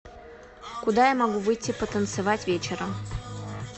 куда я могу выйти потанцевать вечером